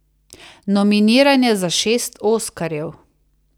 Nominiran je za šest oskarjev.